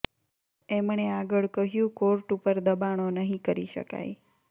એમણે આગળ કહ્યું કોર્ટ ઉપર દબાણો નહીં કરી શકાય